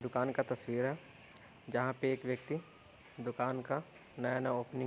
दुकान का तस्वीर है जहाँ पे एक व्यक्ति दुकान का नया नया ओपनिंग --